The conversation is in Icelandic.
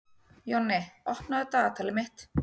Jonni, opnaðu dagatalið mitt.